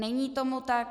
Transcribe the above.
Není tomu tak.